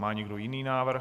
Má někdo jiný návrh?